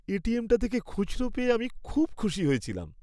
এটিএমটা থেকে খুচরো পেয়ে আমি খুব খুশি হয়েছিলাম।